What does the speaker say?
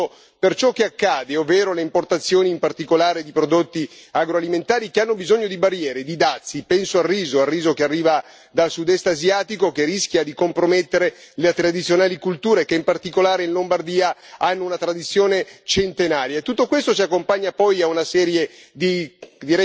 Quindi questa Europa non va nella giusta direzione, soprattutto per ciò che accade, ovvero le importazioni, in particolare di prodotti agroalimentari che hanno bisogno di barriere, di dazi, penso al riso che arriva dal Sudest asiatico, che rischia di compromettere le tradizionali colture che, in particolare in Lombardia, hanno una tradizione centenaria.